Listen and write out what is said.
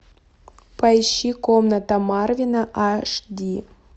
поищи комната марвина аш ди